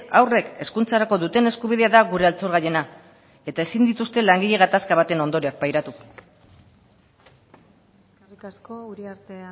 haurrek hezkuntzarako duten eskubidea da gure altxor gailena eta ezin dituzte langile gatazka baten ondorioak pairatu eskerrik asko uriarte